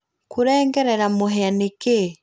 kurengerera mũhĩa nĩkĩĩ?